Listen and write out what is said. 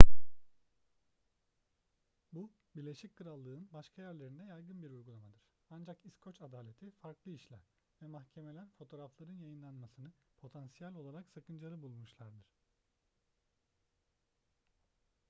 bu birleşik krallık'ın başka yerlerinde yaygın bir uygulamadır. ancak i̇skoç adaleti farklı işler ve mahkemeler fotoğrafların yayınlanmasını potansiyel olarak sakıncalı bulmuşlardır